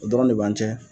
O dɔrɔn de b'an cɛ